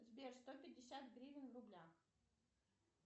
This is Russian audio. сбер сто пятьдесят гривен в рублях